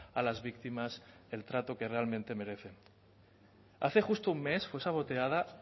a las víctimas el trato que realmente merecen hace justo un mes fue saboteada